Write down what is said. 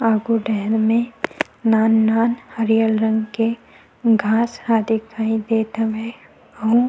आघू डहन में नान-नान हरियल रंग के घास ह दिखाई देत हवय आउ--